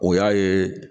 O y'a ye